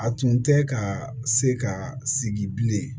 A tun tɛ ka se ka sigi bilen